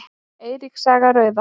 Eiríks saga rauða.